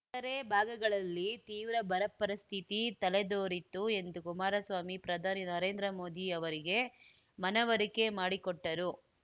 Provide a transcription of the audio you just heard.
ಇತರೆ ಭಾಗಗಳಲ್ಲಿ ತೀವ್ರ ಬರಪರಿಸ್ಥಿತಿ ತಲೆದೋರಿತ್ತು ಎಂದು ಕುಮಾರಸ್ವಾಮಿ ಪ್ರಧಾನಿ ನರೇಂದ್ರ ಮೋದಿ ಅವರಿಗೆ ಮನವರಿಕೆ ಮಾಡಿಕೊಟ್ಟರು